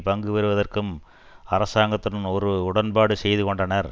பங்கு பெறுவதற்கும் அரசாங்கத்துடன் ஒரு உடன்பாடு செய்து கொண்டனர்